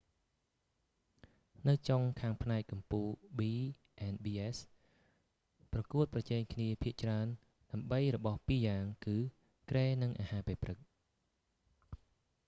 នៅចុងខាងផ្នែកកំពូល b&bs ប្រកួតប្រជែងគ្នាភាគច្រើនដើម្បីរបស់ពីរយ៉ាងគឺ គ្រែនិងអាហារពេលព្រឹក។